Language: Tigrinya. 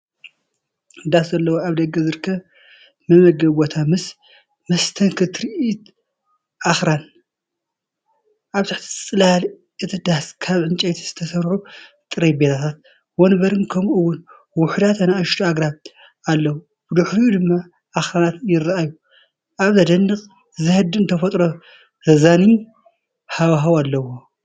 ዳስ ዘለዎ ኣብ ደገ ዝርከብ መመገቢ ቦታ ምስ መስተንክር ትርኢት ኣኽራን። ኣብ ትሕቲ ጽላል እቲ ዳስ ካብ ዕንጨይቲ ዝተሰርሑ ጠረጴዛታትን መንበርን ከምኡ’ውን ውሑዳት ንኣሽቱ ኣግራብ ኣለዉ። ብድሕሪኡ ድማ ኣኽራናት ይራኣዩ። ኣብ ዘደንቕን ዘህድእን ተፈጥሮ ዘዛንይ ሃዋህው ኣለዎ፡፡